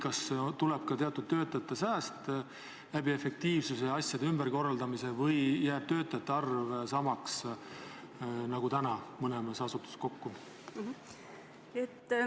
Kas tuleb ka teatud töötaja arvu sääst tänu efektiivsuse kasvule ja asjade ümberkorraldamisele või jääb töötajate arv samaks, nagu praegu annab mõlemas asutuses kokku?